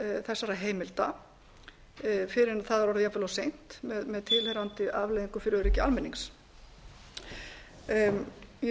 þessara heimilda fyrr en það er orðið jafnvel of seint með tilheyrandi afleiðingum fyrir öryggi almennings ég sé að ég á eina og hálfa mínútu eftir þess vegna